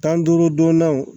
Tan duuru donnaw